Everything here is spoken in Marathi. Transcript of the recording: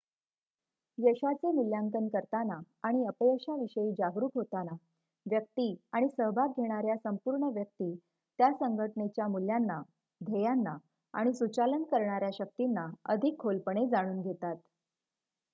यशाचे मुल्यांकन करताना आणि अपयशाविषयी जागरूक होताना व्यक्ती आणि सहभाग घेणाऱ्या संपूर्ण व्यक्ती त्या संघटनेच्या मूल्यांना ध्येयांना आणि सुचालन करणाऱ्या शक्तींना अधिक खोलपणे जाणून घेतात